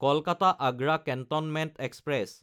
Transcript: Kolkata-Agra cantonment express